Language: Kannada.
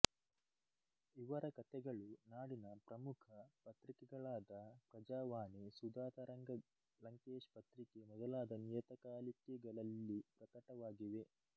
ಇವರ ಕತೆಗಳು ನಾಡಿನ ಪ್ರಮುಖ ಪತ್ರಿಕೆಗಳಾದ ಪ್ರಜಾವಾಣಿಸುಧಾತರಂಗಲಂಕೇಶ್ ಪತ್ರಿಕೆ ಮೊದಲಾದ ನಿಯತಕಾಲಿಕೆಗಳಲ್ಲಿ ಪ್ರಕಟವಾಗಿವೆ